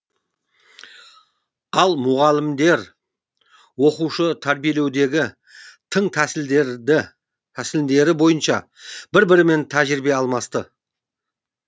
ал мұғалімдер оқушы тәрбиелеудегі тың тәсілдері бойынша бір бірімен тәжірибе алмасты